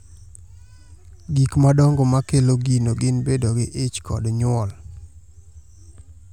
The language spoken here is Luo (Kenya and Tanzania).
Gik madongo ma kelo gino gin bedo gi ich kod nyuol.